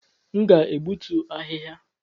M ga-egbutu ahịhịa